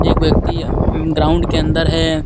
एक व्यक्ति ग्राउंड के अंदर है।